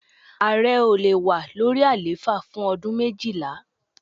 Ààrẹ ò le wà lórí àlééfà fún ọdún méjìlá.